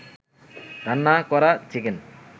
রান্না করা চিকেন